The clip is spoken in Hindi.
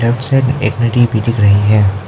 लेफ्ट साइड एक नदी भी दिख रही है।